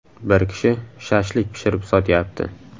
Bir kishi ‘shashlik’ pishirib sotyapti.